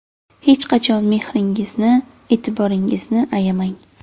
Hech qachon mehringizni, e’tiboringizni ayamang.